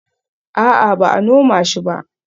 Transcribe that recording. A'a, ba a noma shi ba